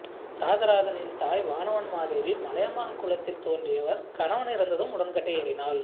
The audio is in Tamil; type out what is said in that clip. இராசராசனின் தாய் வானவன் மாதேவி மலையமான் குலத்தில் தோன்றியவர் கணவன் இறந்ததும் உடன்கட்டை ஏறினாள்